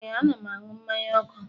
Ee, a na'm anụ mmanye ọku